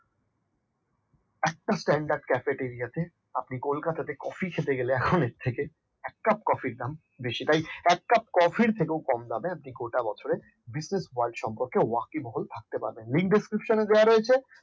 একটা standard cafe area আছে কলকাতাতে কফি খেতে গেলে এখন এর থেকে এক কাপ কফির দাম বেশি তাই এক কাপ কফির থেকেও কম দামে আপনি গোটা বছরে business world সম্পর্কে ওয়াকিবহুল থাকতে পারবেন link descripton দেওয়া রয়েছে